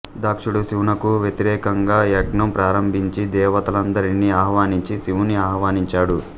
ధక్షుడు శివునకు వ్యతిరేకం గా యజ్ఞం ప్రారంబించి దేవతలనందరినీ అహ్వానించి శివున్ని ఆహ్వానించడు